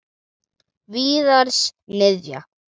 Víðars niðja.